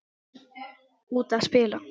Út að spila.